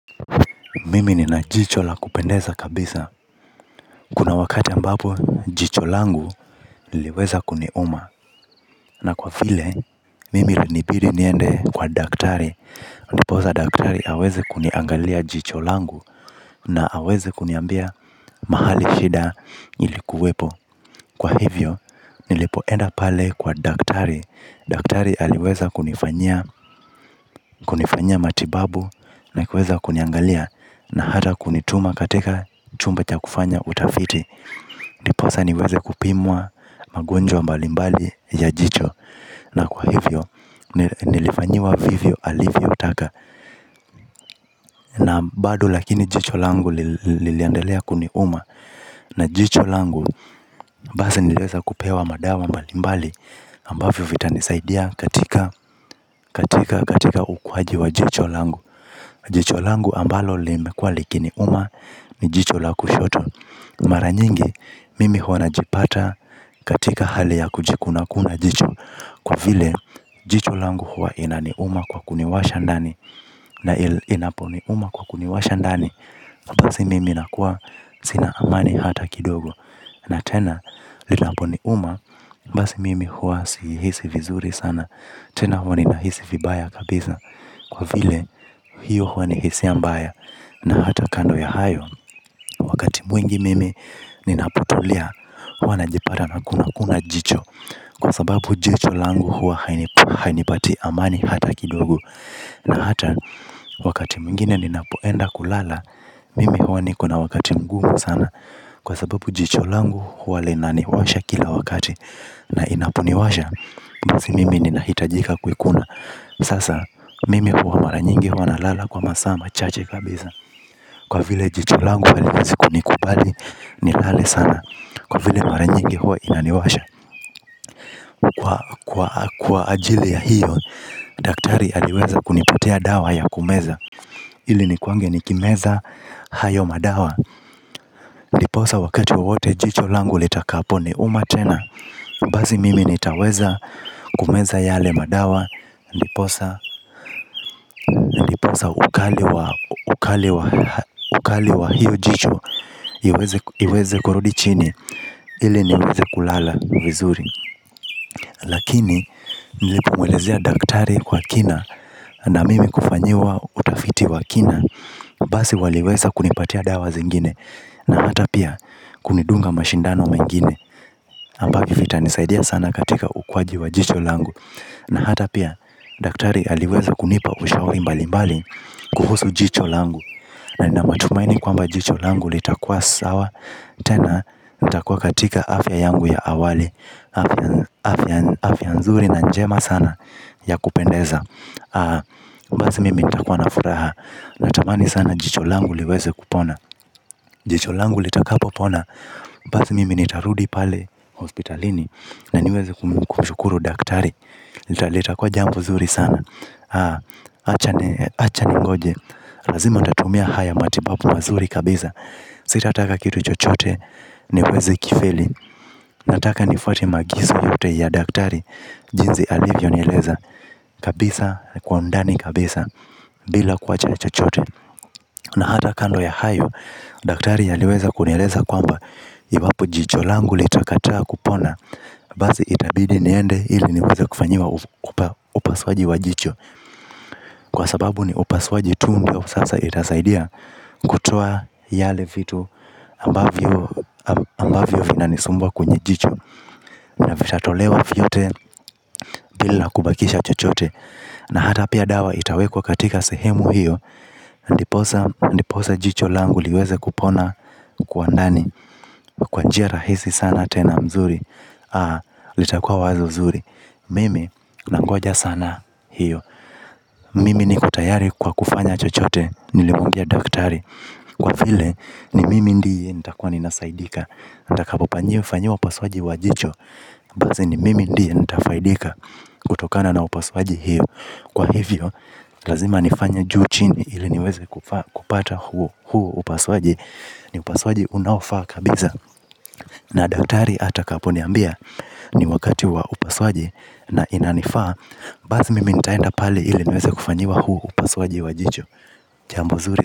Mimi ni na jicho la kupendeza kabisa. Kuna wakati ambapo, jicho langu lliiweza kuniuma. Na kwa vile, mimi ilinibidi niende kwa daktari. Ndiposa daktari aweze kuniangalia jicho langu na aweze kuniambia mahali shida ilikuwepo. Kwa hivyo, nilipoenda pale kwa daktari. Daktari aliweza kunifanyia kunifanyia matibabu na kuweza kuniangalia na hata kunituma katika chumba cha kufanya utafiti. Ndiposa niweze kupimwa magonjwa mbalimbali ya jicho na kwa hivyo nilifanyiwa vivyo alivyo taka. Na bado lakini jicho langu liliendelea kuniuma na jicho langu basi niliweza kupewa madawa mbalimbali ambavyo vitanisaidia katika katika katika ukuaji wa jicho langu. Jicho langu ambalo limekuwa likiniuma ni jicho la kushoto. Mara nyingi mimi huwa najipata katika hali ya kujikunakuna jicho. Kwa vile jicho langu huwa inaniuma kwa kuniwasha ndani. Na inaponiuma kwa kuniwasha ndani basi mimi nakuwa sina amani hata kidogo. Na tena linapo ni uma basi mimi huwa si hisi vizuri sana. Tena huwa nina hisi vibaya kabisa kwa vile hiyo huwa ni hisia mbaya na hata kando ya hayo. Wakati mwingi mimi ninapotulia huwa najipata na kuna kuna jicho. Kwa sababu jicho langu huwa hainipatii amani hata kidogo. Na hata wakati mwingine ninapoenda kulala mimi huwa nikona wakati mgumu sana. Kwa sababu jicho langu huwa linaniwasha kila wakati na inaponiwasha basi mimi ni nahitajika kuikuna. Sasa mimi huwa maranyingi huwa na lala kwa masaa machache kabisa. Kwa vile jicho langu haliwezi kunikubali ni lale sana. Kwa vile maranyingi huwa inaniwasha. Kwa ajili ya hiyo, daktari aliweza kunipotia dawa ya kumeza. Ili nikuwange nikimeza hayo madawa ndiposa wakati wowote jicho langu litakapo ni umatena. Basi mimi nitaweza kumeza yale madawa. Ndiposa ndiposa ukali wa ukali wa ukali wa hiyo jicho iweze ku iweze kurudi chini ii niweze kulala vizuri. Lakini nilipomuelezea daktari kwa kina. Na mimi kufanyiwa utafiti wa kina basi waliweza kunipatia dawa zingine. Na hata pia kunidunga mashindano mengine ambavyo vitanisaidia sana katika ukuaji wa jicho langu. Na hata pia daktari aliweza kunipa ushauri mbali mbali kuhusu jicho langu. Na ninamatumaini kwamba jicho langu litakuwa sawa tena. Litakuwa katika afya yangu ya awali afya afya. Afya nzuri na njema sana ya kupendeza ah. Basi mimi nitakuwa na furaha. Natamani sana jicho langu liweze kupona. Jicho langu litakapo pona. Basi mimi nitarudi pale Hospitalini Na niweze kumshukuru daktari. Litakuwa jambo zuri sana ah acha acha ningoje. Lazima nitatumia haya matibabu mazuri kabisa. Sitataka kitu chochote niwezi kifili nataka nifuate maagizo yote ya daktari jinsi alivyo nieleza kabisa kwa undani kabisa. Bila kuwacha chochote. Na hata kando ya hayo. Daktari aliweza kunieleza kwamba iwapo jicho langu litakataa kupona. Basi itabidi niende ili niweze kufanyiwa upasuaji wa jicho kwa sababu ni upasuaji tu muda huu sasa itasaidia. Kutoa yale vitu ambavyo ambavyo vina nisumbua kwenye jicho. Na vitatolewa vyote bila kubakisha chochote. Na hata pia dawa itawe kwa katika sehemu hiyo ndiposa ndiposa jicho langu liweze kupona uko kwa ndani. Kwa njia rahisi sana tena mzuri aah litakuwa wazo zuri. Mimi nangoja sana hiyo. Mimi niko tayari kwa kufanya chochote nilimwambia daktari. Kwa vile ni mimi ndiye nitakuwa ninasaidika. Nitakapo panyiwa fanyiwa upasuaji wa jicho. Basi ni mimi ndiye nitafaidika kutokana na upasuaji hiyo. Kwa hivyo, lazima nifanye juu chini ili niweze kupata huo huo upasuaji. Ni upasuaji unaofaa kabisa. Na daktari ata kaponiambia ni wakatiwa upasuaji na inanifaa basi mimi nitaenda pale ili niweze kufanyiwa huu upasuaji wa jicho jambo zuri.